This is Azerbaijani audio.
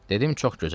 Dedim çox gözəl.